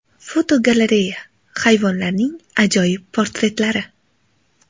Fotogalereya: Hayvonlarning ajoyib portretlari.